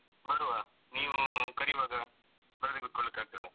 ಬರುವ ನೀವು ಕರಿವಾಗ ಬರದೇ ಕುತ್ಕೋಳಿಕ್ಕಾಗ್ತದ?